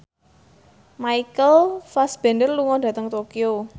Michael Fassbender lunga dhateng Tokyo